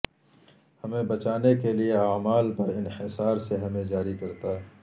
ہمیں بچانے کے لئے اعمال پر انحصار سے ہمیں جاری کرتا ہے